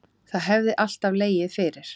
Það hefði alltaf legið fyrir